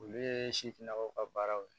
Olu ye sifinnakaw ka baaraw ye